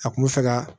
A kun bɛ fɛ ka